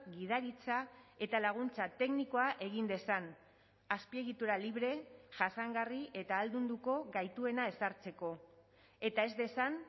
gidaritza eta laguntza teknikoa egin dezan azpiegitura libre jasangarri eta ahaldunduko gaituena ezartzeko eta ez dezan